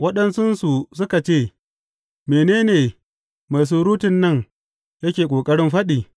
Waɗansunsu suka ce, Mene ne mai surutun nan yake ƙoƙarin faɗi?